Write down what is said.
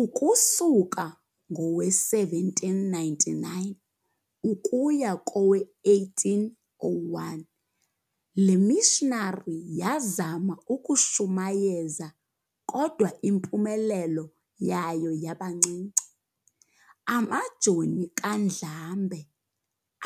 Ukusuka ngowe-1799 ukuya kowe-1801 lemissionary yazama ukushumayeza kodwa impumelelo yayo yabancinci. Amajoni kaNdlambe